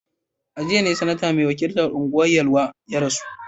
A jiya ne Sanata mai wakiltar Anguwan Yelwa ya rasu